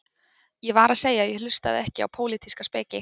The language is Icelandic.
Ég var að segja að ég hlustaði ekki á pólitíska speki